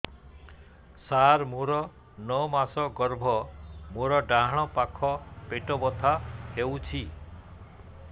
ସାର ମୋର ନଅ ମାସ ଗର୍ଭ ମୋର ଡାହାଣ ପାଖ ପେଟ ବଥା ହେଉଛି